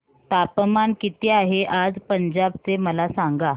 तापमान किती आहे आज पंजाब चे मला सांगा